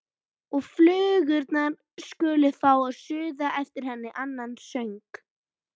Og flugurnar skulu fá að suða yfir henni annan söng.